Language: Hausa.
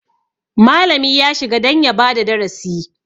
Malami ya shiga don ya bada darasi.